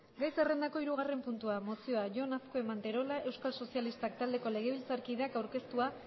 gai zerrandako hirugarren puntua mozioa jon azkue manterola euskal sozialistak taldeko legebiltzarkideak aurkeztua